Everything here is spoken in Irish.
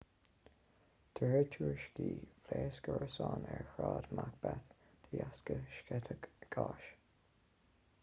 de réir tuairiscí phléasc árasán ar shráid macbeth de dheasca sceitheadh gáis